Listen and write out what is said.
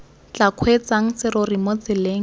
tla kgweetsang serori mo tseleng